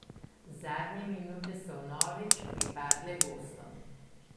Zadnje minute so vnovič pripadle gostom.